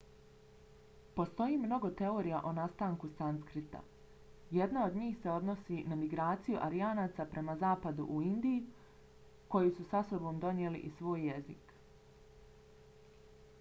postoji mnogo teorija o nastanku sanskrita. jedna od njih se odnosi na migraciju aryanaca prema zapadu u indiju koji su sa sobom donijeli i svoj jezik